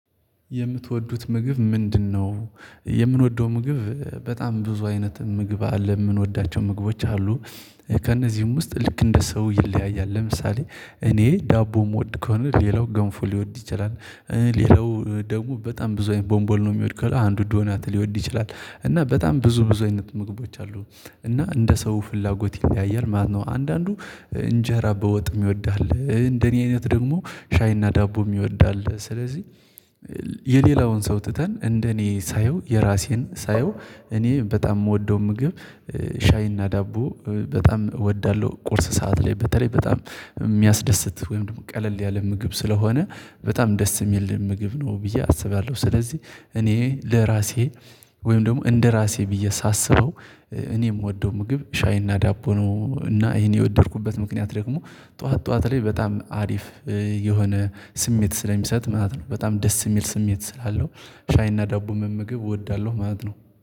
የምትወዱት ምግብ ምንድነው? የምንወደው ምግብ በጣም ብዙ አይነት ምግብ አለ የምንወዳቸው ምግቦች አሉ። ከእነዚህም ውስጥ ልክ እንደ ሰው ይለያያል ለምሳሌ እኔ ዳቦ የምወድ ከሆነ ሌላው ገንፎ ሊወድ ይችላል። ሌላው ደግሞ በጣም ብዙ አይነት ቦንቦልኖ የሚወድ ከሆነ አንድ ዶናት ሊወድ ይችላል። እና በጣም ብዙ ብዙ አይነት ምግቦች አሉ እና እንደ ሰው ፍላጎት ይለያያል ማለት ነው። አንዳንዱ እንጀራ በወጥም ይወዳል እንደኔ አይነት ደግሞ ሻይና ዳቦም ይወዳል። ስለዚህ የሌላውን ሰው ትተን እንደኔ ሳየው የራሴን ሳየው እኔ በጣም የምወደው ምግብ ሻይና ዳቦ በጣም እወዳለሁ። ቁርስ ሰዓት ላይ በተለይ በጣም የሚያስደስት ወይም ደግሞ ቀለል ያለ ምግብ ስለሆነ በጣም ደስ የሚልህ ምግብ ነው ብዬ አስባለሁ ስለዚህ እኔ ለራሴ ወይም ደግሞ እንደራሴ ብዬ ሳስበው እኔ የምወደው ምግብ ሻይና ዳቦ ነው። እና ይሄን የወደድኩበት ምክንያት ደግሞ ጠዋት ጠዋት ላይ በጣም አሪፍ የሆነ ስሜት ስለሚሰጥ ማለት ነው። በጣም ደስ የሚል ስሜት ስላለው ሻይና ዳቦም ምግብ እወዳለሁ ማለት ነው